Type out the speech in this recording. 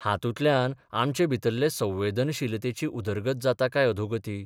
हातूंतल्यान आमचे भितरले संवेदनशीलतेची उदरगत जाता काय अधोगती?